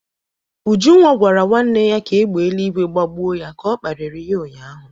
Ujunwa gwara nwanne ya ka égbè eluigwe gbagbuo ya ka ọ kparịrị ya ụnyahụ.